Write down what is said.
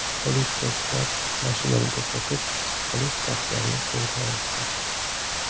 Politsiyachilar mashinani to‘xtatib, shubhali shaxslarni qo‘lga olishdi.